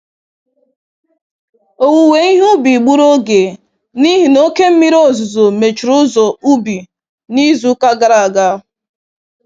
Owuwe ihe ubi gburu oge n'ihi na oke mmiri ozuzo mechiri ụzọ ubi na izuka gara aga.